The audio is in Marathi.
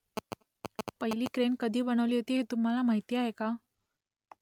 पहिली क्रेन कधी बनवली होती ते तुम्हाला माहीत आहे का ?